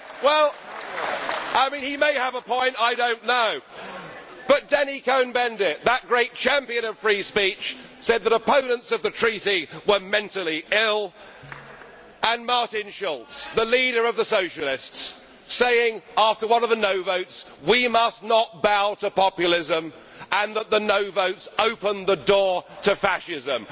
Well, he may have a point, I do not know but Danny Cohn Bendit, that great champion of free speech, said that opponents of the Treaty were mentally ill, and Martin Schulz, the leader of the Socialists, said after one of the no' votes that we must not bow to populism and that the no' votes opened the door to fascism.